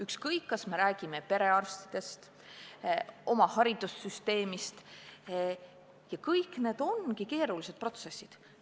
Ükskõik, kas räägime perearstindusest, haridussüsteemist – kõik need on keerulised protsessid.